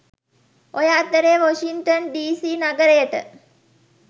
ඔය අතරේ Washington DC නගරයට